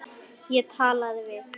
Ég talaði við